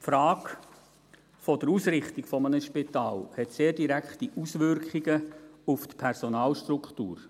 Die Frage der Ausrichtung eines Spitals hat sehr direkte Auswirkungen auf die Personalstruktur.